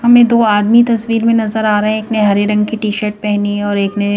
हमें दो आदमी तस्वीर में नजर आ रहे हैं एक ने हरे रंग की टी शर्ट पहनी है और एक ने--